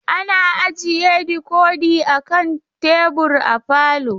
Ana ajiye dikodi a kan tebur a falo.